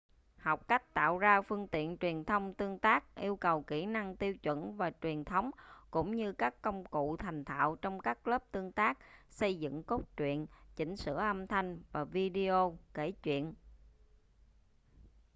học cách tạo ra phương tiện truyền thông tương tác yêu cầu kỹ năng tiêu chuẩn và truyền thống cũng như các công cụ thành thạo trong các lớp tương tác xây dựng cốt truyện chỉnh sửa âm thanh và video kể chuyện,...